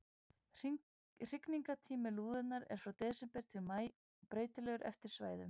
Hrygningartími lúðunnar er frá desember til maí, breytilegur eftir svæðum.